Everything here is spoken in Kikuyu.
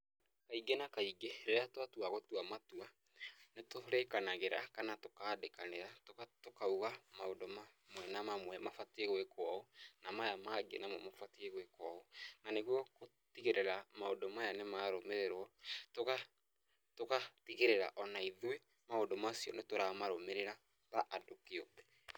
Kaingĩ na kaingĩ, rĩrĩa twatua gũtua matua nĩ tũrĩkanagĩra kana tũkaandĩkanĩra, tũkauga maũndũ mamwe na mamwe mabatiĩ gwĩkwo ũũ, na maya mangĩ mabatiĩ gwĩkwo ũũ, na nĩguo gũtigĩrĩra maũndũ maya nĩmarũmĩrĩrwo, tũgatigĩrĩra o na ithuĩ maũndũ macio nĩ tũramarũmĩrĩra ta andũ kĩũmbe.